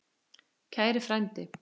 Kæri frændi.